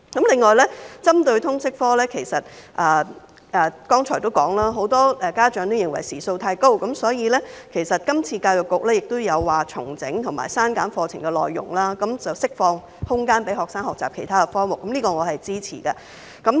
另外，針對通識科，我剛才也提到，很多家長認為時數太高，所以今次教育局也表示要重整和削減課程的內容，釋放空間予學生學習其他科目，此舉我是支持的。